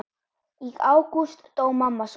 Í ágúst dó mamma svo.